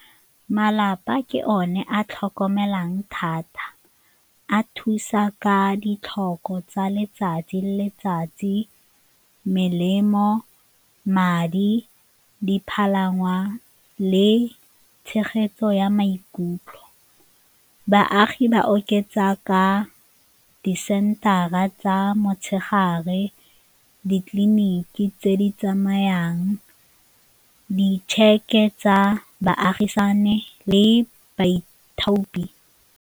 Malapa ke one a tlhokomelang thata, a thusa ka ditlhoko tsa letsatsi le letsatsi, melemo, madi, dipalangwa le tshegetso ya maikutlo. Baagi ba oketsa ka disensara tsa motshegare, ditleliniki tse di tsamayang, di-check-e tsa baagisane le baithaopi.